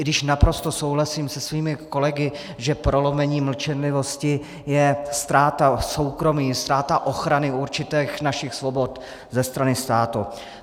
I když naprosto souhlasím se svými kolegy, že prolomení mlčenlivosti je ztráta soukromí, ztráta ochrany určitých našich svobod ze strany státu.